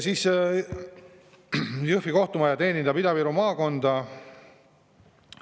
Jõhvi kohtumaja teenindab Ida-Viru maakonda.